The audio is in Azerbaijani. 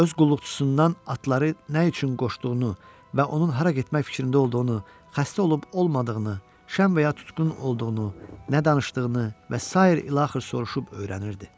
Öz qulluqçusundan atları nə üçün qoşduğunu və onun hara getmək fikrində olduğunu, xəstə olub olmadığını, şən və ya tutqun olduğunu, nə danışdığını və sair ilaxır soruşub öyrənirdi.